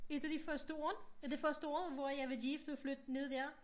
Et af de første år af de første år hvor jeg var gift og flyttede ned dér